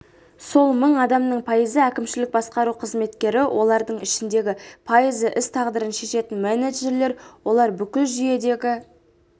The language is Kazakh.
сол мың адамның пайызы әкімшілік-басқару қызметкері олардың ішіндегі пайызы іс тағдырын шешетін менеджерлер олар бүкіл жүйедегі